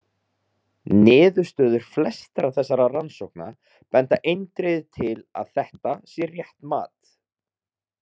Niðurstöður flestra þessara rannsókna benda eindregið til að þetta sé rétt mat.